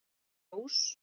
Ljós